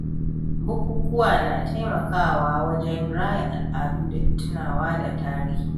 Bukukuwa na taimakawa wajen raya al’ada da tunawa da tarihi.